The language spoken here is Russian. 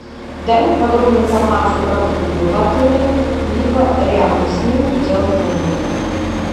дай мне подробную информацию про клубы в отеле либо рядом с ним в пределах километра